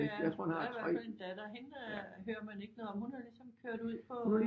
Ja der er i hvert fald en datter hende hører man ikke noget om hun er ligesom kørt ud på